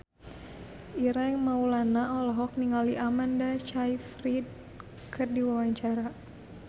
Ireng Maulana olohok ningali Amanda Sayfried keur diwawancara